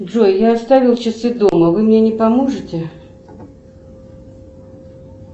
джой я оставил часы дома вы мне не поможете